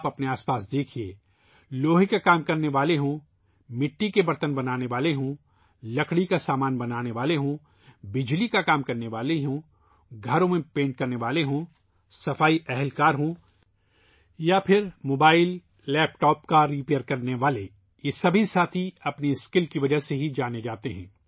اپنے ارد گرد دیکھئے ، چاہے لوہے کا کام کرنے والے ہوں ، مٹی کے برتن بنانے والے ہوں ، لکڑی کے کام کرنے والے ہوں ، الیکٹریشن ہوں ، گھر کا پینٹر ہو ، جھاڑو لگانے والا ہو ، یا موبائل لیپ ٹاپ کا ریپیئر کرنے والا ہو ، یہ سب ساتھی مرمت کرنے والے صرف اپنی مہارت کی وجہ سے جانے جاتے ہیں